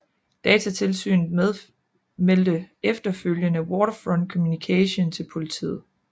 Datatilsynet meldte efterfølgende Waterfront Communication til politiet